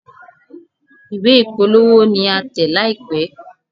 Ìwé ìpolówó ní a tẹ̀ láìpé.